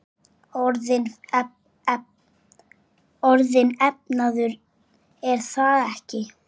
Orðinn efnaður, er það ekki?